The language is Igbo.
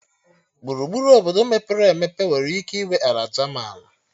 Gburugburu Obodo mepere emepe nwere ike ịnwe ala jaman